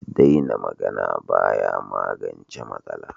Daina magana ba ya magance matsala.